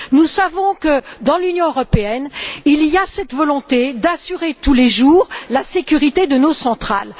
Nous savons que, dans l'Union européenne, il y a cette volonté d'assurer tous les jours la sécurité de nos centrales.